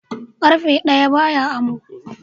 Ƙarfe ɗaya ba ya amo.